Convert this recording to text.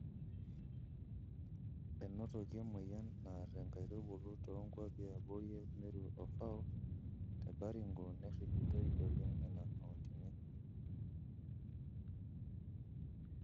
Enotoki emoyian naar nkaitubulu too nkuapi e abori e Meru o FAW te Baringo neirripitoi oleng nena kauntini.